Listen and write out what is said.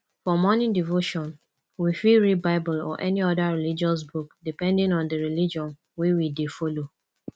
for morning devotion we fit read bible or any oda religious book depending on di religion wey we dey follow